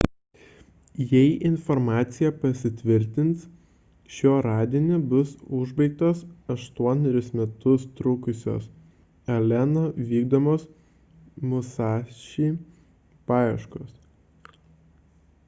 jei informacija pasitvirtins šiuo radiniu bus užbaigtos aštuonerius metus trukusios p alleno vykdomos musashi paieškos